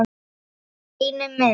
Steini minn!